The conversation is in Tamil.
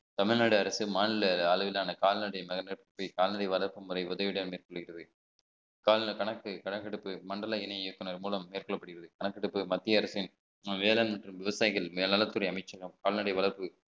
தமிழ்நாடு அரசு மாநில அளவிலான கால்நடை கால்நடை வளர்ப்பு முறை உதவியுடன் மேற்கொள்கிறது கால்ல கணக்கு கணக்கெடுப்பு மண்டல இணை இயக்குனர் மூலம் மேற்கொள்ளப்படுகிறது கணக்கெடுப்பு மத்திய அரசின் வேளாண் மற்றும் விவசாயிகள் மேல் நலத்துறை அமைச்சகம் கால்நடை வளர்ப்பு